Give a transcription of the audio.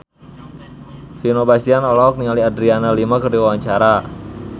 Vino Bastian olohok ningali Adriana Lima keur diwawancara